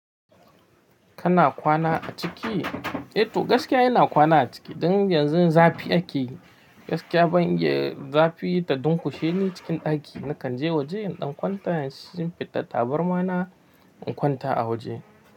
Kana kwana a ciki? Eh to gaskiya ina kwana a ciki. Dan yanzu zafi ake. Gaskiya ban iya zafi ta dunƙushe ni cikin ɗaki. Nakan je waje in ɗan kwanta, in shinfiɗa tabarma na in kwanta a waje.